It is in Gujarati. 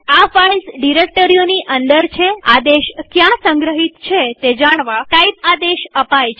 આ ફાઈલ્સ ડિરેક્ટરીઓની અંદર છેઆદેશ ક્યાં સંગ્રહિત છે તે જાણવા ટાઇપ આદેશ અપાય છે